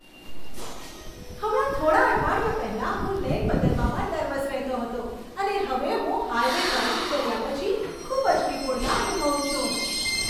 હમણાં થોડા અઠવાડિયા પહેલા, હું લેન બદલવામાં નર્વસ રહેતો હતો અને હવે હું હાઈવે ડ્રાઈવિંગ કર્યા પછી ખૂબ જ નિપુણતા અનુભવું છું!